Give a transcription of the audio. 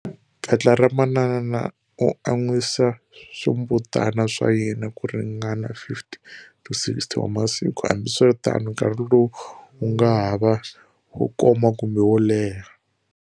Katla ra manana u an'wisa swimbutana swa yena kuringana 50-60 wa masiku. Hambiswiritano, nkarhi lowu wu nga ha va wo koma kumbe wo leha.